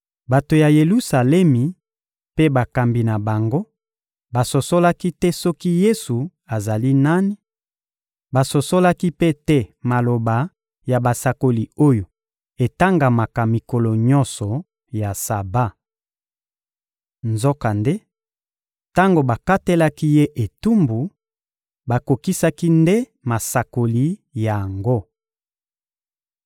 Bato ya Yelusalemi mpe bakambi na bango basosolaki te soki Yesu azali nani; basosolaki mpe te maloba ya basakoli oyo etangamaka mikolo nyonso ya Saba. Nzokande, tango bakatelaki Ye etumbu, bakokisaki nde masakoli yango.